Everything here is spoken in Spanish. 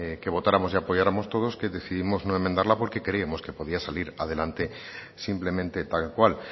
que votáramos y apoyáramos todos que decidimos no enmendarla porque creíamos que podía salir adelante simplemente tal cual